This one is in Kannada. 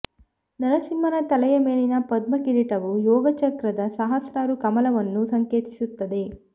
ನರಸಿಂಹನ ತಲೆಯ ಮೇಲಿನ ಪದ್ಮ ಕಿರೀಟವು ಯೋಗಚಕ್ರದ ಸಹಸ್ರಾರು ಕಮಲವನ್ನು ಸಂಕೇತಿಸುತ್ತದೆ